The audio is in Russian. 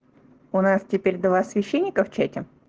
у нас теперь два священника в чате